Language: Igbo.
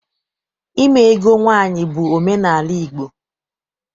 Ime ego nwaanyị bụ omenaala Igbo.